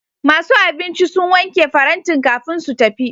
Masu abinci sun wanke farantin kafin su tafi.